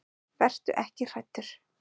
Vertu ekki hræddur.